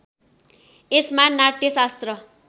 यसमा नाट्यशास्त्र